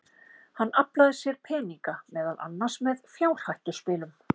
Hann aflaði sér peninga, meðal annars með fjárhættuspilum.